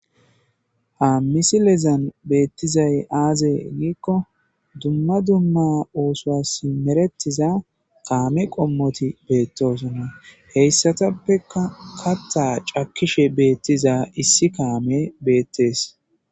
Ha missilezan betizay aze giko duma duma osuwas meretiza kame qomoti betosona heysatapekka katha c'akishe betiza issi kame betes.